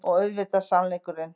Og auðvitað sannleikurinn.